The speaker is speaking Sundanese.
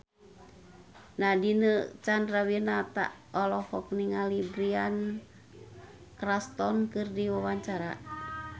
Nadine Chandrawinata olohok ningali Bryan Cranston keur diwawancara